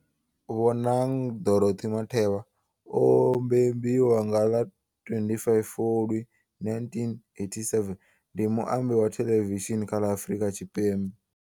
Bonang Dorothy Matheba o mbembiwa nga ḽa 25 Fulwi 1987, ndi muambi wa theḽevishini kha ḽa Afrika Tshipembe.